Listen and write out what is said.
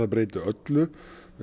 breyta öllu